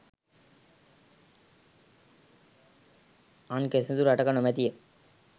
අන් කිසිදු රටක නොමැති ය.